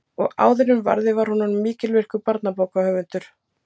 Og áður en varði var hún orðin mikilvirkur barnabókahöfundur.